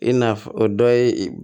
I nafɔ dɔ ye